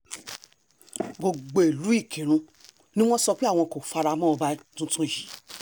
gbogbo ìlú ìkírun ni wọ́n sọ pé àwọn kò fara mọ́ ọba tuntun yìí